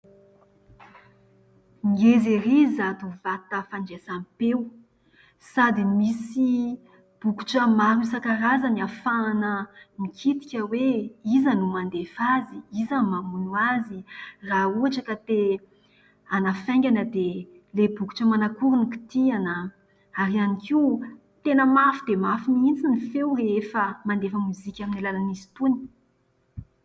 Ngeza ery izato vata fandraisam-peo. Sady misy bokitra maro isankarazany afahana mikitika hoe : Iza no mandefa azy? Iza no mamono azy? Raha ohatra ka te hanafaingana dia ilay bokatra manankory no kitiana? Ary hiany koa, tena mafy dia mafy mihintsy ny feo rehefa mandefa mozika aminy alalan'izy itony.